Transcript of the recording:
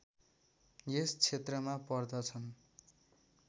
यस क्षेत्रमा पर्दछन्